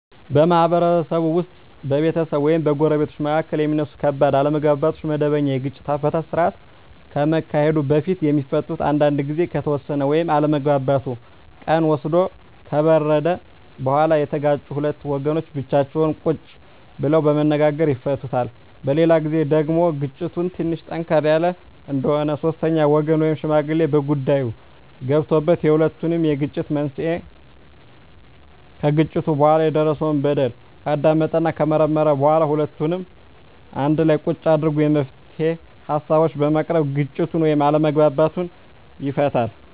በማህበረሰብ ውስጥ በቤተሰብ ወይም በጎረቤቶች መካከል የሚነሱ ከባድ አለመግባባቶች ወደመበኛ የግጭት አፈታት ስርአት ከመሄዱ በፊት የሚፈቱት አንዳንዱ ግዜ ከተወሰደ ወይም አለመግባባቱ ቀን ወስዶ ከበረደ በኋላ የተጋጩት ሁለት ወገኖች ብቻቸውን ቁጭ ብለው በመነጋገር ይፈቱታል። በሌላ ግዜ ደግሞ ግጭቱ ትንሽ ጠንከር ያለ እንደሆነ ሶስተኛ ወገን ወይም ሽማግሌ በጉዳይዮ ገብቶበት የሁለቱንም የግጭት መንሴና ከግጭቱ በኋላ የደረሰው በደል ካዳመጠና ከመረመረ በኋላ ሁለቱንም አንድላ ቁጭ አድርጎ የመፍትሄ ሀሳቦችን በማቅረብ ግጭቱን ወይም አለመግባባቱን ይፈታል።